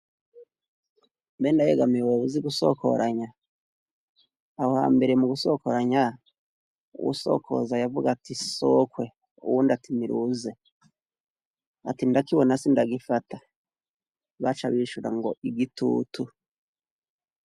Mbe Ndayegamiye woba uzi gusokoranya aho hambere mu gusokoranya wusokoza yavuga ati sokwe uwundi atinira wuze ati ndakibona si ndagifata baca bishura ngo igitutu.